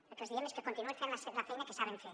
el que els diem és que continuïn fent la feina que saben fer